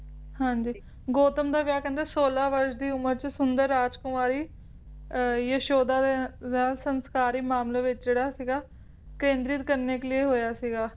ਹਾਂਜੀ ਗੌਤਮ ਦਾ ਵਿਆਹ ਕਹਿੰਦੇ ਸੋਲਾਂ ਵਰਸ਼ ਦੀ ਉਮਰ ਚ ਸੁੰਦਰ ਰਾਜਕੁਮਾਰੀ ਅਹ ਯਸ਼ੋਦਾ ਦੇ ਵਿਆਹ ਸੰਸਕਾਰੀ ਮਾਮਲੇ ਵਿੱਚ ਜਿਹੜਾ ਸੀਗਾ ਕੇਂਦਰਿਤ ਕਰਨੇ ਕੇ ਲੀਏ ਹੋਇਆ ਸੀਗਾ